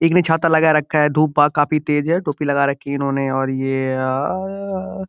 एक ने छाता लगा रखी है। धुप बा काफी तेज़ है। टोपी लगा रखी है इन्होंने और ये आ --